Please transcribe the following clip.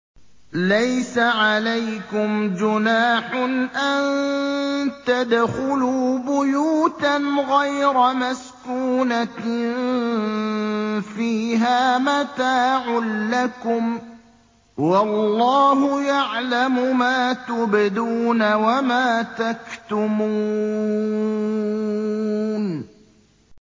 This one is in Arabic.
لَّيْسَ عَلَيْكُمْ جُنَاحٌ أَن تَدْخُلُوا بُيُوتًا غَيْرَ مَسْكُونَةٍ فِيهَا مَتَاعٌ لَّكُمْ ۚ وَاللَّهُ يَعْلَمُ مَا تُبْدُونَ وَمَا تَكْتُمُونَ